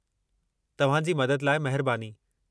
तवहां जी मदद लाइ महिरबानी।